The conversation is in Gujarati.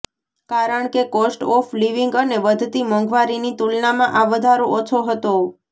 કારણ કે કોસ્ટ ઓફ લિવિંગ અને વધતી મોંઘવારીની તુલનામાં આ વધારો ઓછો હતો